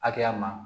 Hakɛya ma